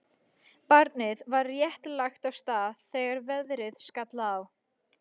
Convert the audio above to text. Barnið var rétt lagt af stað þegar veðrið skall á.